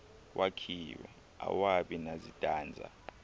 wakhiwe awabi nazitanza